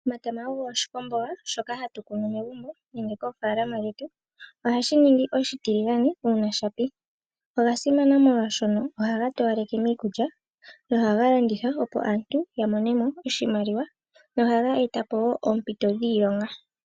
Omatama ogo oshikwamboga, shoka hatu kunu megumbo, nenge moofaalama dhetu. Ohashi ningi oshitiligane, uuna sha pi. Oga simana molwaashono ohaga towaleke miikulya, nohaga landithwa opo aantu yamonemo oshimaliwa, nohaga etapo wo oompito dhiilonga.